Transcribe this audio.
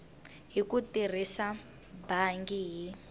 hi ku tirhisa bangi hi